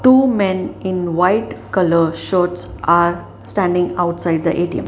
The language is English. two men in white colour shirts are standing outside the A_T_M.